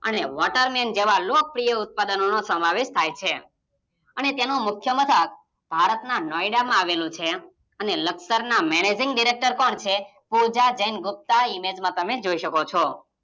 અને water Man જેવા લોકપ્રિય ઉત્પાદનોનો સમાવેશ થઇ છે. અને તેનું મુખ્ય મથક ભારતના નોયડા માં આવેલ છે, અને લકસરના Managing Director કોણ છે પૂજા જૈન ગુપ્તા ઇમેજમાં તમે જોઈ શકો છો